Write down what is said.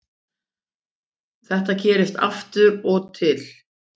Þetta gerist af og til